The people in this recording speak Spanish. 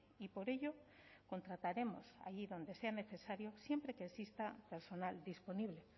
y por ello contrataremos allí donde sea necesario siempre que exista personal disponible